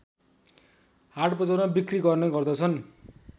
हाटबजारमा बिक्री गर्ने गर्दछन्